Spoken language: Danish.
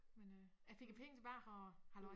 Men øh jeg fik æ penge tilbage og halløj